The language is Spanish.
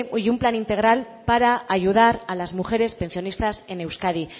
y un plan integral para ayudar las mujeres pensionistas en euskadi